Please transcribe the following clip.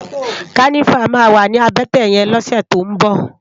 Kànivá mà wá ni àbètè yèn lòsè tó n bò